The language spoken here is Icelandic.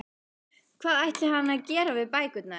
Hvað ætlaði hann að gera við bækurnar?